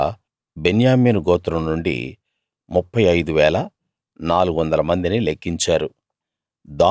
అలా బెన్యామీను గోత్రం నుండి 35 400 మందిని లెక్కించారు